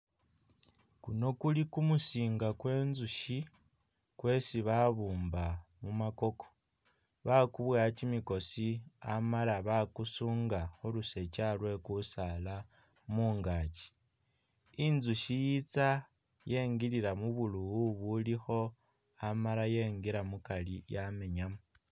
Kuno kuli kumusinga kwe nzusyi kwesi babumba mumakoko, bakuboya kimikosi amala bakusunga khu lusokya lwe kusaala mungaaki. Inzusyi yitsa yengilila mubulowo bulikho amala yengila mukari yamenyamu.